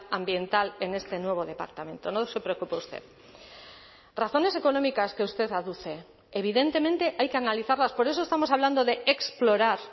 ambiental en este nuevo departamento no se preocupe usted razones económicas que usted aduce evidentemente hay que analizarlas por eso estamos hablando de explorar